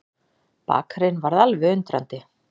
Bakarinn varð alveg undrandi.